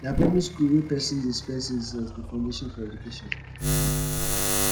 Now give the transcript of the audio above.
na primary skool wey pesin dey spend six years be foundation for educattion